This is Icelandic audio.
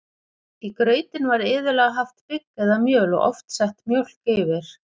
Í grautinn var iðulega haft bygg eða mjöl og oft sett mjólk yfir.